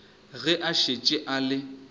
ge a šetše a le